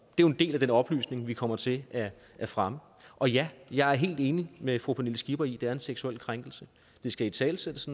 jo en del af den oplysning vi kommer til at fremme og ja jeg er helt enig med fru pernille skipper i at det er en seksuel krænkelse det skal italesættes